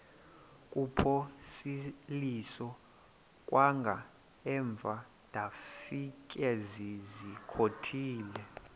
kuphosiliso kwangaemva ndafikezizikotile